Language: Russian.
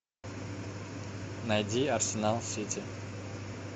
найди арсенал сити